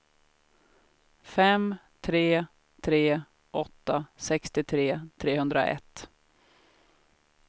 fem tre tre åtta sextiotre trehundraett